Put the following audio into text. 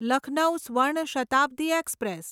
Lucknow Swarna Shatabdi express